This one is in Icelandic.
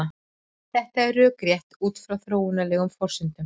Þetta er rökrétt út frá þróunarlegum forsendum.